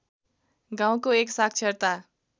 गाउँको एक साक्षरता